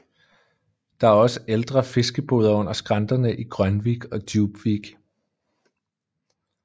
Der er også ældre fiskeboder under skrænterne i Grönvik og Djupvik